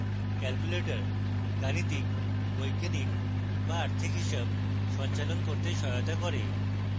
calculator গাণিতিক বৈজ্ঞানিক বা আর্থিক হিসাব সঞ্চালন করতে সহায়তা করে